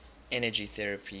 energy therapies